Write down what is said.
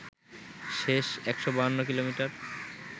শেষ ১৫২ কিমি